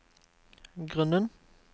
grunnen